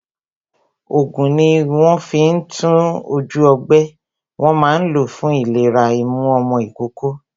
Ògùn tí wón fi ń tún ojú ọgbẹ́, wọn máa ń lo fún ìlera imú ọmọ ìkókó